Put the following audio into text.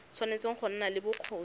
tshwanetse go nna le bokgoni